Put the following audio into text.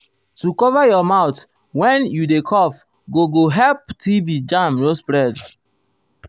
to cover um your mouth when you dey cough go go help tb um germ no spread.